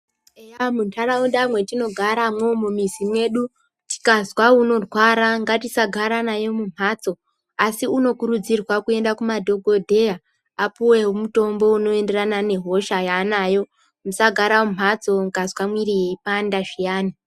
Eya mundaraunda mwetinogara mwo mumizi medu tikazwa unorwara ngatisagara naye mumhatso asi unokurudzirwa kuenda kumadhokodheya apuwe mutombo unoenderana nehosha yaanayo, musagara mumhatso mukazwa mwiri yeipanda zviyani.